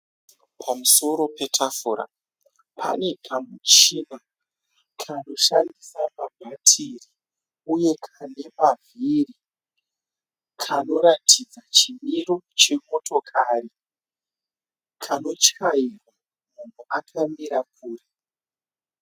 Pamusoro petafura pane kamuchina kanoshandisa mabhatiri uye kane mavhiri. Kanoratidza chimiro chemotokari. Kanotyairwa munhu akamira kure.